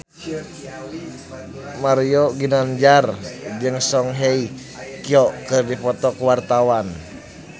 Mario Ginanjar jeung Song Hye Kyo keur dipoto ku wartawan